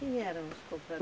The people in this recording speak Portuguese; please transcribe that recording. Quem eram os